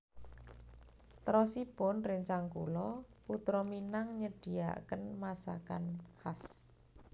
Terosipun rencang kulo Putra Minang nyediaken masakan khas